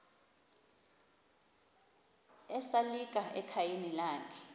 esalika ekhayeni lakhe